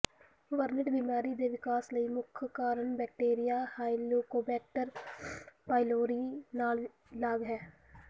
ਵਰਣਿਤ ਬਿਮਾਰੀ ਦੇ ਵਿਕਾਸ ਲਈ ਮੁੱਖ ਕਾਰਨ ਬੈਕਟੀਰੀਆ ਹੈਲੀਕੋਬੈਕਟਰ ਪਾਇਲੋਰੀ ਨਾਲ ਲਾਗ ਹੈ